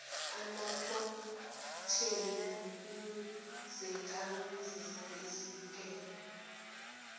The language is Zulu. amaphrotheni nokunezakhamzimba ezivikelayo